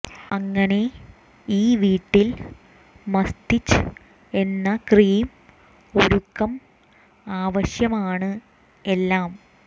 അങ്ങനെ ഈ വീട്ടിൽ മസ്തിച് എന്ന ക്രീം ഒരുക്കം ആവശ്യമാണ് എല്ലാം